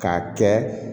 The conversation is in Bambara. K'a kɛ